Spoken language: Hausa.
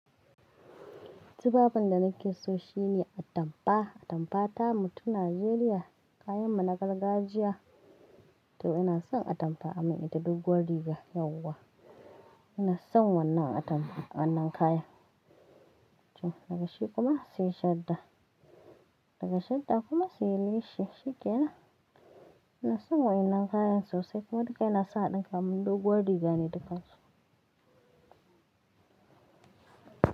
Tufafin da nake so shine atampa. Atampa tamu ta Najeriya, kayan mu na gargajiya. To ina son atampa a min ita doguwar riga yauwa. Ina son wannan atampa, wannan kayan. Toh daga shi kuma sai shadda, daga shadda kuma sai leshi. Shikenan, ina son waɗannan kayan sosai kuma duka ina so ɗinka mun doguwar riga ne dukansu.